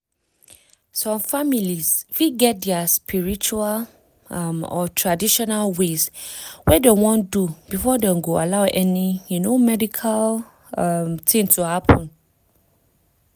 some families fit get dia spiritual um or traditional ways wey dem wan do before dem go allow any um medical um tin to happen.